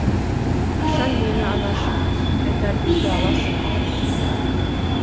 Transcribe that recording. қашан мені анашым қайтарып үйге аласың